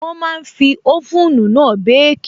Wọ́n máa n fi oven náà békì